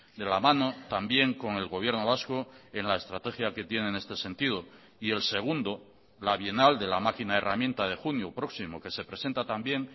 de la mano también con el gobierno vasco en la estrategia que tiene en este sentido y el segundo la bienal de la máquina herramienta de junio próximo que se presenta también